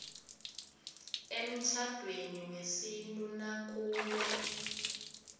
emtjhadweni wesintu nakube